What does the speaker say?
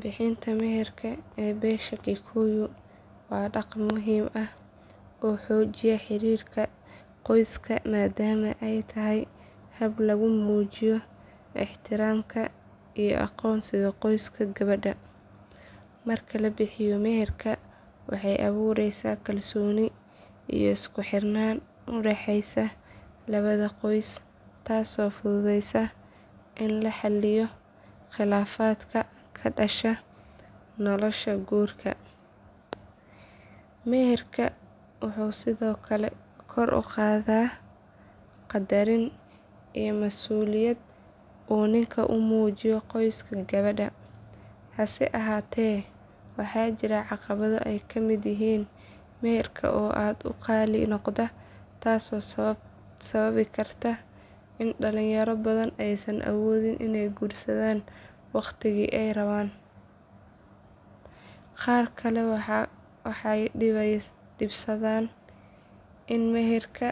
Bixinta meherka ee beesha kikuyu waa dhaqan muhiim ah oo xoojiya xiriirka qoyska maadaama ay tahay hab lagu muujiyo ixtiraamka iyo aqoonsiga qoyska gabadha. Marka la bixiyo meherka waxay abuureysaa kalsooni iyo isku xirnaan u dhexeysa labada qoys taasoo fududeysa in la xalliyo khilaafaadka ka dhasha nolosha guurka. Meherka wuxuu sidoo kale kor u qaadaa qadarin iyo mas’uuliyad uu ninku u muujiyo qoyska gabadha. Hase ahaatee waxaa jira caqabado ay ka mid yihiin meherka oo aad u qaali noqda taasoo sababi karta in dhalinyaro badan aysan awoodin inay guursadaan waqtigii ay rabaan. Qaar kale waxay dhibsadaan in meherka